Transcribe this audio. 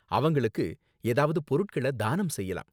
அவங்களுக்கு ஏதாவது பொருட்கள தானம் செய்யலாம்.